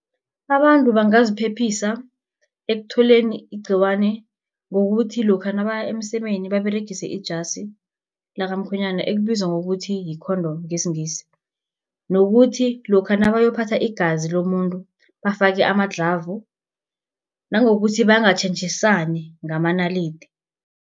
Abantu bangaziphephisa ekutholeni igciwane ngokuthi lokha nabaya emsemeni baberegise ijasi lakamkhwenyana ekubizwa ngokuthi yi-condom, ngesiNgisi, nokuthi lokha nabayokuphatha igazi lomuntu bafake ama-glove, nangokuthi bangatjhentjhisani ngamanalidi.